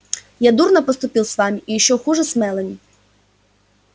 я дурно поступил с вами и ещё хуже с мелани